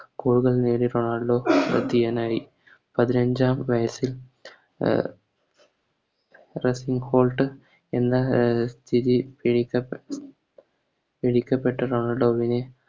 Goal കൾ നേടിയ Ronaldo ശ്രെദ്ധേയനായി പതിനഞ്ചാം വയസ്സിൽ അഹ് ഹോൾട്ട് എന്ന എ സ്ഥിതീകരിക്ക പ്പെട്ട സ്ഥിതിക്കപ്പെട്ട